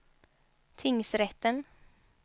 tingsrätten